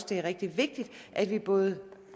det er rigtig vigtigt at vi både